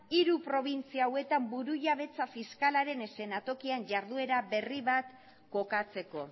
hiru probintzia honetan burujabetza fiskalaren eszenatokian jarduera berri bat kokatzeko